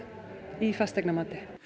í fasteignamati